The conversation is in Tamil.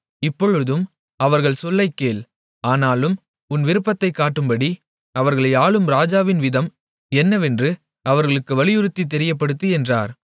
இப்பொழுதும் அவர்கள் சொல்லைக்கேள் ஆனாலும் உன் விருப்பத்தைக் காட்டும்படி அவர்களை ஆளும் ராஜாவின் விதம் என்னவென்று அவர்களுக்கு வலியுறுத்தி தெரியப்படுத்து என்றார்